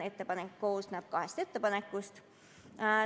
Ettepanek koosneb kahest ettepanekust.